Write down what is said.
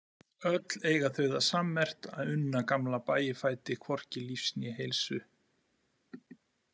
Öll eiga þau það sammerkt að unna gamla Bægifæti hvorki lífs né heilsu.